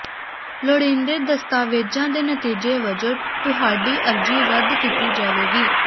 ਲੋੜੀਂਦੇ ਦਸਤਾਵੇਜ਼ਾਂ ਦੇ ਨਤੀਜੇ ਵਜੋਂ ਤੁਹਾਡੀ ਅਰਜ਼ੀ ਰੱਦ ਕੀਤੀ ਜਾਵੇਗੀ